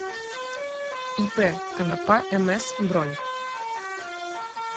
ип конопа мс бронь